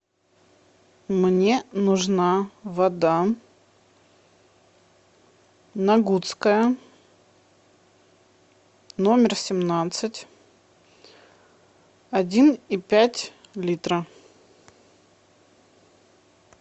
мне нужна вода нагутская номер семнадцать один и пять литра